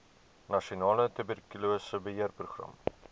nasionale tuberkulose beheerprogram